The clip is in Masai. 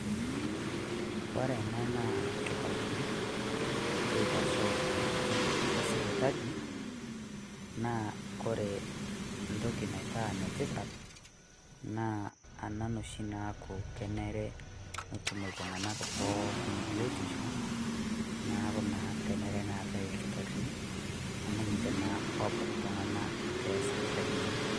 Ore ena naa ilkitarrini loitashoo tenkutuk esipitali naa kore entoki naitaa enetipat naa enare oshi naa keeta iltung'anak pookin ebiotisho neaku naa kenare neetae ilkitarrini amu ninche naa loobak iltung'anak too sipitalini.